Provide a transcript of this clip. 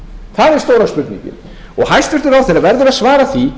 það er stóra spurningin og hæstvirtur ráðherra verður að svara því